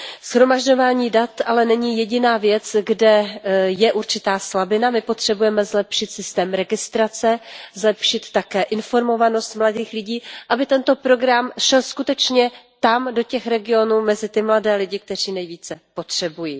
Shromažďování dat ale není jediná věc, kde je určitá slabina. My potřebujeme zlepšit systém registrace, zlepšit také informovanost mladých lidí, aby tento program šel skutečně tam, do těch regionů, mezi ty mladé lidi, kteří jej nejvíce potřebují.